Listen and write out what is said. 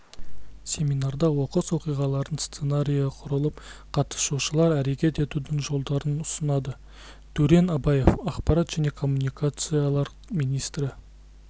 семинарда оқыс оқиғалардың сценариі құрылып қатысушылар әрекет етудің жолдарын ұсынады дурен абаев ақпарат жне коммуникациялар министрі